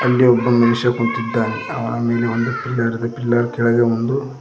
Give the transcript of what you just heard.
ಇಲ್ಲಿ ಒಬ್ಬ ಮನುಷ್ಯ ಕುಂತಿದ್ದಾನೆ ಅವ ಮೇಲೆ ಒಂದು ಪಿಲ್ಲರ್ ಇದೆ ಪಿಲ್ಲರ್ ಕೆಳಗೆ ಒಂದು --